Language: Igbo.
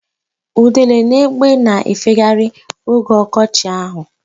Udele na egbe na-efegharịrị oge ọkọchị ahụ.